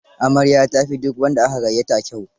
Amaryar ta fi duk wanda aka gayyata kyau.